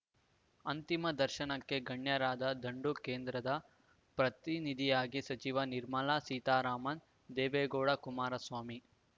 ಅಂತಿಮ ದರ್ಶನಕ್ಕೆ ಗಣ್ಯರ ದಂಡು ಕೇಂದ್ರದ ಪ್ರತಿನಿಧಿಯಾಗಿ ಸಚಿವೆ ನಿರ್ಮಲಾ ಸೀತಾರಾಮನ್‌ ದೇವೇಗೌಡ ಕುಮಾರಸ್ವಾಮಿ